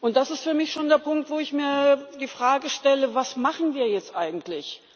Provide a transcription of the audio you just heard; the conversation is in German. Das ist für mich schon der Punkt, wo ich mir die Frage stelle Was machen wir jetzt eigentlich?